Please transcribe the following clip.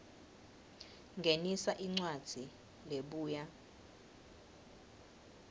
ngenisa incwadzi lebuya